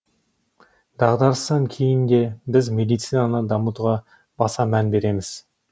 дағдарыстан кейін де біз медицинаны дамытуға баса мән береміз